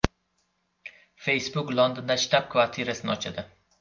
Facebook Londonda shtab-kvartirasini ochadi.